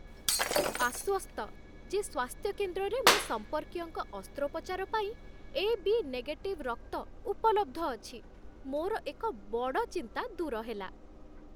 ମୁଁ ଆଶ୍ୱସ୍ତ ଯେ ସ୍ୱାସ୍ଥ୍ୟ କେନ୍ଦ୍ରରେ ମୋ ସମ୍ପର୍କୀୟଙ୍କ ଅସ୍ତ୍ରୋପଚାର ପାଇଁ ଏ.ବି. ନେଗେଟିଭ୍ ରକ୍ତ ଉପଲବ୍ଧ ଅଛି। ମୋର ଏକ ବଡ଼ ଚିନ୍ତା ଦୂର ହେଲା।